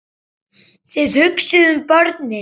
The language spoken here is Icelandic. Þið hugsið um börnin.